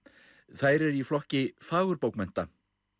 þær eru í flokki fagurbókmennta